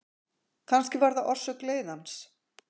Kannski var það orsök leiðans.